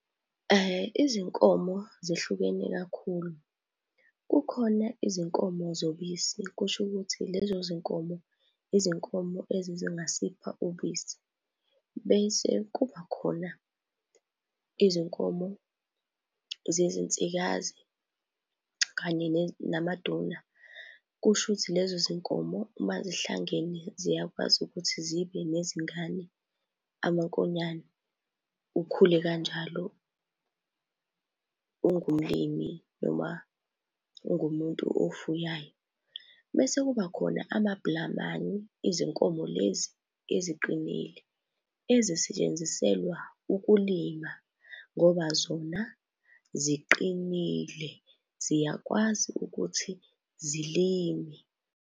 Izinkomo zihlukene kakhulu. Kukhona izinkomo zobisi, kusho ukuthi lezo zinkomo, izinkomo ezingasipha ubisi. Bese kubakhona izinkomo zezinsikazi kanye namaduna, kushuthi lezo zinkomo mazihlangene ziyakwazi ukuthi zibe nezingane, amankonyane, ukhule kanjalo ungumlimi noma ungumuntu ofuyayo. Mese kuba khona amabhlamani, izinkomo lezi eziqinile ezisetshenziselwa ukulima ngoba zona ziqinile, ziyakwazi ukuthi zilime.